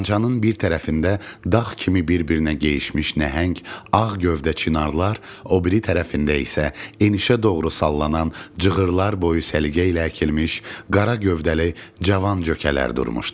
Meydançanın bir tərəfində dağ kimi bir-birinə geyişmiş nəhəng ağ gövdə çinarlar, o biri tərəfində isə enişə doğru sallanan cığılar boyu səliqə ilə əkilmiş qara gövdəli cavan cökələr durmuşdu.